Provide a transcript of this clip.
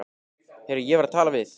Heyrðu, ég var að tala við